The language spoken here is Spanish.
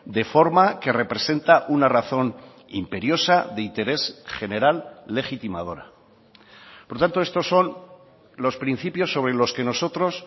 de forma que representa una razón imperiosa de interés general legitimadora por tanto estos son los principios sobre los que nosotros